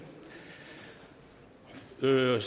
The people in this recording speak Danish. møde